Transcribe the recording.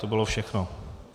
To bylo všechno.